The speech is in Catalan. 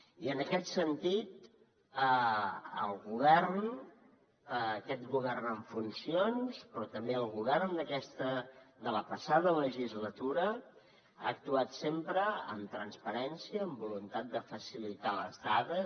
i en aquest sentit el govern aquest govern en funcions però també el govern de la passada legislatura ha actuat sempre amb transparència amb voluntat de facilitar les dades